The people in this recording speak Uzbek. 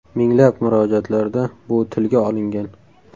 Minglab murojaatlarda bu tilga olingan.